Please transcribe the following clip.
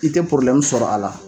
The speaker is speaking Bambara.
K'i tɛ sɔrɔ a la.